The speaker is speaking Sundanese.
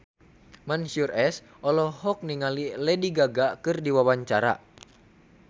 Mansyur S olohok ningali Lady Gaga keur diwawancara